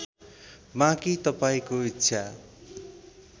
बाँकी तपाईँको ईच्छा